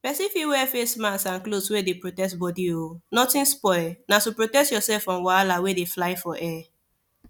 person fit wear face mask and cloth wey dey protect body o nothing spoil na to protect yourself from wahala wey dey fly for air